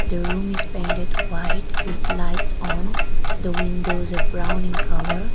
the room is painted white with lights on the windows are brown in colour.